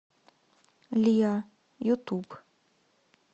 лиа ютуб